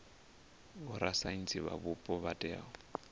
vhorasaintsi vha mupo vha tea